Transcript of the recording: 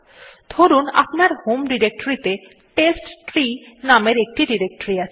ধরুন আপনার হোম ডিরেক্টরীতে টেস্টট্রি নামের একটি ডিরেক্টরী আছে